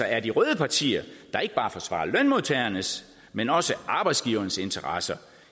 er de røde partier der ikke bare forsvarer lønmodtagernes men også arbejdsgivernes interesse